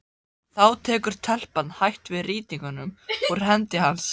Þá tekur telpan hægt við rýtingnum úr hendi hans.